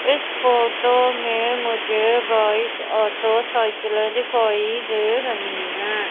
इस फोटो में मुझे बाइक ऑटो साइकिलें दिखाई दे रही हैं।